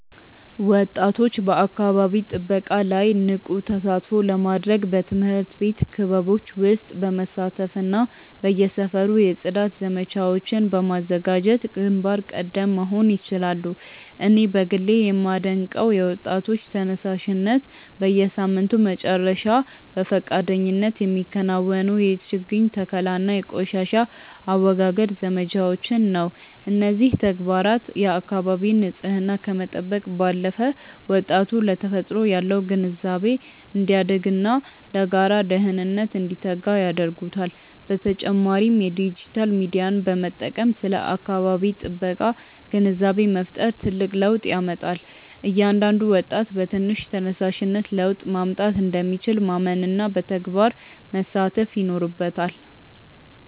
ወጣቶች በአካባቢ ጥበቃ ላይ ንቁ ተሳትፎ ለማድረግ በትምህርት ቤት ክበቦች ውስጥ በመሳተፍና በየሰፈሩ የጽዳት ዘመቻዎችን በማዘጋጀት ግንባር ቀደም መሆን ይችላሉ። እኔ በግሌ የማደንቀው የወጣቶች ተነሳሽነት፣ በየሳምንቱ መጨረሻ በፈቃደኝነት የሚከናወኑ የችግኝ ተከላና የቆሻሻ አወጋገድ ዘመቻዎችን ነው። እነዚህ ተግባራት የአካባቢን ንፅህና ከመጠበቅ ባለፈ፣ ወጣቱ ለተፈጥሮ ያለው ግንዛቤ እንዲያድግና ለጋራ ደህንነት እንዲተጋ ያደርጉታል። በተጨማሪም የዲጂታል ሚዲያን በመጠቀም ስለ አካባቢ ጥበቃ ግንዛቤ መፍጠር ትልቅ ለውጥ ያመጣል። እያንዳንዱ ወጣት በትንሽ ተነሳሽነት ለውጥ ማምጣት እንደሚችል ማመንና በተግባር መሳተፍ ይኖርበታል።